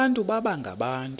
abantu baba ngabantu